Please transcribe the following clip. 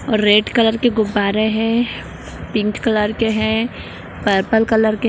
और red colour के गुब्बारे हैं पिंक कलर के है पर्पल कलर के --